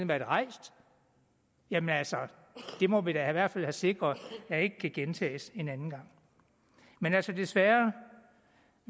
været rejst jamen altså det må vi da i hvert fald have sikret ikke gentager sig en anden gang men altså desværre